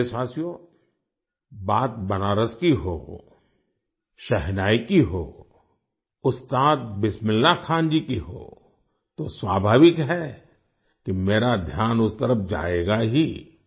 मेरे प्यारे देशवासियो बात बनारस की हो शहनाई की हो उस्ताद बिस्मिल्लाह खान जी की हो तो स्वाभाविक है कि मेरा ध्यान उस तरफ जाएगा ही